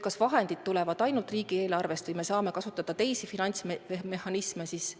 Kas vahendid tulevad ainult riigieelarvest või me saame kasutada teisi finantsmehhanisme?